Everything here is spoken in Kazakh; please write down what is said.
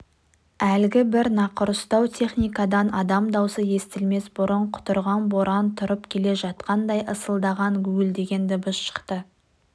әлгі бір нақұрыстау техникадан адам даусы естілмес бұрын құтырған боран тұрып келе жатқандай ысылдаған гуілдеген дыбыс шықты